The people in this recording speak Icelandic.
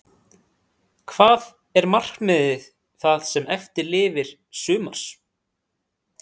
Hvað er markmiðið það sem eftir lifir sumars?